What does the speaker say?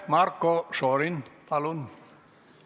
Marko Šorin, palun!